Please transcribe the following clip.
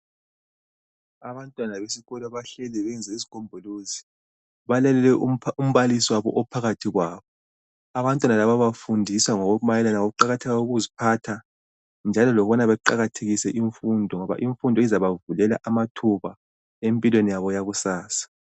Abantwana beskolo bahleli benze isigombolozi. Balalele umbalisi wabo ophakathi kwabo. Abantwana laba bafundiswa ngokumayelana ngokuqakatheka kokuziphatha, njalo lokubana baqakathekise imfundo ngoba imfundo izabavulela amathuba empilweni yabo yakusasa.